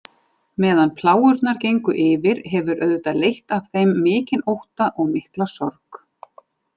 Meðan plágurnar gengu yfir hefur auðvitað leitt af þeim mikinn ótta og mikla sorg.